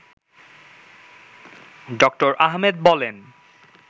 ড: আহমেদ বলেন